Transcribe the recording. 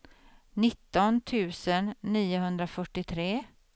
nitton tusen niohundrafyrtiotre